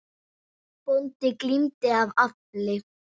Bóndi glímdi af afli.